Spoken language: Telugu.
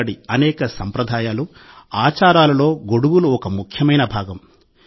అక్కడి అనేక సంప్రదాయాలు ఆచారాలలో గొడుగులు ఒక ముఖ్యమైన భాగం